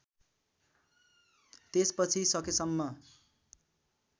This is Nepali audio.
त्यसपछि सकेसम्म